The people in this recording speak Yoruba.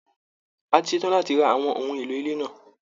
A ti ṣe tán láti ra àwọn ohun èlò ilé náà